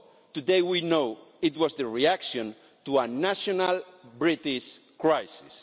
Today we know it was the reaction to a national British crisis.